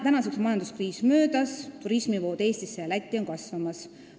Tänaseks on majanduskriis möödas ning turismivood Eestisse ja Lätti on kasvamas.